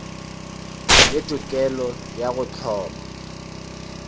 le tokelo ya go hloma